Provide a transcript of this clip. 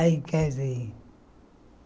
Aí casei.